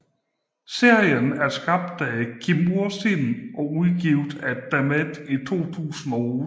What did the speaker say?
Serien er skrevet af Kim Ursin og udgivet af DaMat i 2008